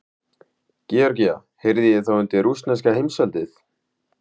Georgía heyrði þá undir rússneska heimsveldið.